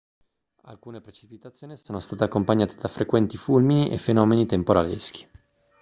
alcune precipitazioni sono state accompagnate da frequenti fulmini e fenomeni temporaleschi